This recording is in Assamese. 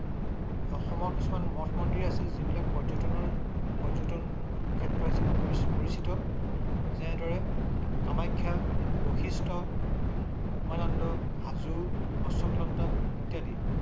অসমত‌‌ কিছুমান মঠ মন্দিৰ আছে । যিবিলাক পৰ্যটনৰ ক্ষেত্ৰ‌ হিচাপে পৰিচিত যেনেদৰে কামাখ্যা, বৈশিষ্ট, উমানন্দ, হাজো, অশ্বক্ৰান্ত ইত্যাদি